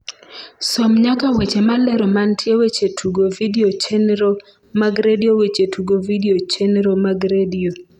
som nyaka weche malero mantie weche tugo vidio chenro mag redio weche tugo vidio chenro mag redio